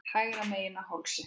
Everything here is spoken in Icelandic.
Hægra megin á hálsi.